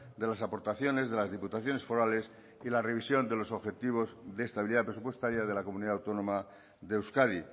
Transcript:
de las aportaciones de las diputaciones forales y la revisión de los objetivos de estabilidad presupuestaria de la comunidad autónoma de euskadi